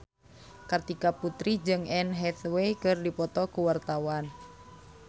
Kartika Putri jeung Anne Hathaway keur dipoto ku wartawan